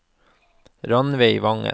Rannveig Vangen